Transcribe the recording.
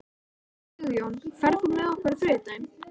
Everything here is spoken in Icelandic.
Sigjón, ferð þú með okkur á þriðjudaginn?